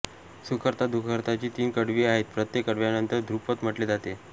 सुखकर्ता दुखहर्ताची तीन कडवी आहेत प्रत्येक कडव्यानंतर धृपद म्हटले जाते